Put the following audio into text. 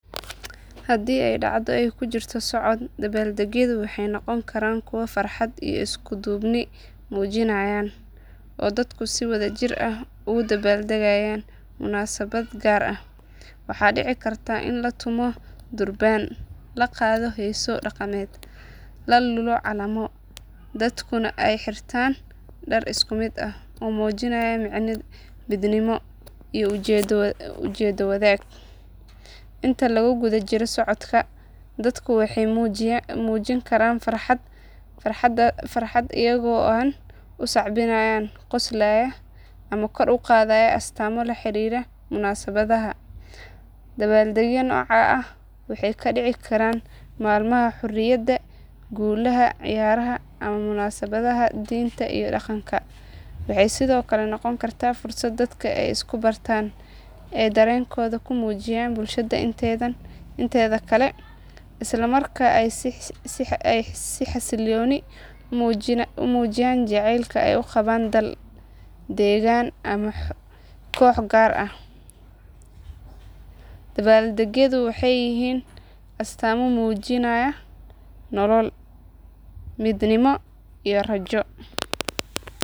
Hadii ay dhacdho ay kujirto socod dabbaaldegyadu waxay noqon karaan kuwo farxad iyo isku duubni muujinaya oo dadku si wadajir ah ugu dabaaldegayaan munaasabad gaar ah. Waxaa dhici karta in la tumo durbaano, la qaado heeso dhaqameed, la lullo calamo, dadkuna ay xirtaan dhar isku mid ah oo muujinaya midnimo iyo ujeeddo wadaag. Inta lagu guda jiro socodka dadku waxay muujin karaan farxadooda iyaga oo u sacbinaya, qoslayaa, ama kor u qaadayaa astaamo la xiriira munaasabadda. Dabbaaldegyada noocaan ah waxay ka dhici karaan maalmaha xurriyadda, guulaha ciyaaraha, ama munaasabadaha diinta iyo dhaqanka. Waxay sidoo kale noqon karaan fursad dadka ay isku bartaan, ay dareenkooda u muujiyaan bulshada inteeda kale, isla markaana ay si xasiloon u muujiyaan jacaylka ay u qabaan dal, deegaan, ama koox gaar ah. Dabbaaldegyadu waxay yihiin astaamo muujinaya nolol, midnimo, iyo rajo.